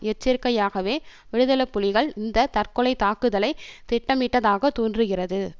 எச்சரிக்கையாகவே விடுதலை புலிகள் இந்த தற்கொலை தாக்குதலை திட்டமிட்டதாக தோன்றுகிறது